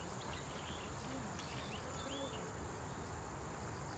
афина это круто